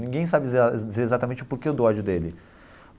Ninguém sabe dizer exa dizer exatamente o porquê do ódio dele.